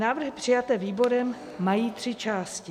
Návrhy přijaté výborem mají tři části.